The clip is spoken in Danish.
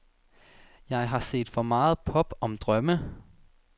Jeg har set for meget pop om drømme.